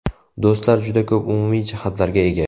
Do‘stlar juda ko‘p umumiy jihatlarga ega.